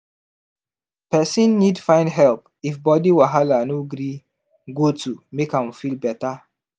person need find help if body wahala no gree goto make am feel better